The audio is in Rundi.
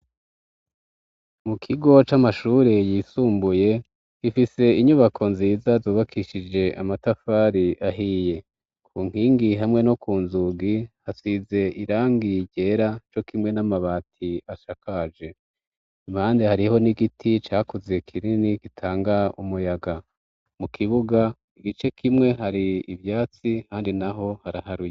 Mu kigo c'amashure yisumbuye, ifise inyubako nziza zubakishije amatafari ahiye, ku nkingi hamwe no ku nzugi hasize irangi ryera co kimwe n'amabati asakaje. Impande hariho n'igiti cakuze kinini gitanga umuyaga, mu kibuga igice kimwe hari ivyatsi ahandi naho haraharuye.